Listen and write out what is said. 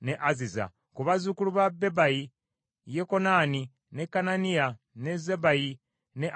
Ku bazzukulu ba Bebayi: Yekokanani, ne Kananiya, ne Zabbayi ne Asulaayi.